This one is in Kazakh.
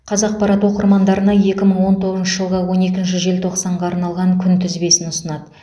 қазақпарат оқырмандарына екі мың он тоғызыншы жылғы он екінші желтоқсанға арналған күнтізбесін ұсынады